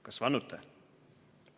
"Kas vannute?"